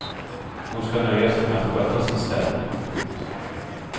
Hon ska nöja sig med att sköta sin städning. punkt